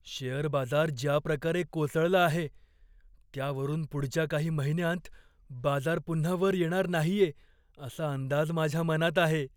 Share बाजार ज्याप्रकारे कोसळला आहे, त्यावरून पुढच्या काही महिन्यांत बाजार पुन्हा वर येणार नाहीये, असा अंदाज माझ्या मनात आहे.